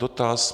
Dotaz.